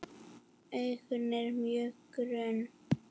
Augun eru mjög grunn.